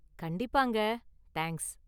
கண்டிப்பாங்க, தேங்க்ஸ்!